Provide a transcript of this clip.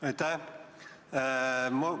Aitäh!